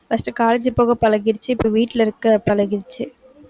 first college போக பழகிருச்சு, இப்ப வீட்டுல இருக்க பழகிருச்சு